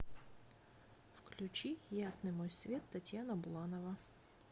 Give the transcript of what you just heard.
включи ясный мой свет татьяна буланова